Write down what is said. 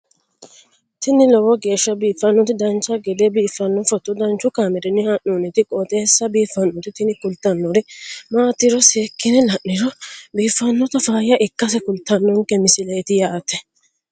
tini lowo geeshsha biiffannoti dancha gede biiffanno footo danchu kaameerinni haa'noonniti qooxeessa biiffannoti tini kultannori maatiro seekkine la'niro biiffannota faayya ikkase kultannoke misileeti yaate